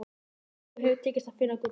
Engum hefur tekist að finna gullið.